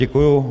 Děkuji.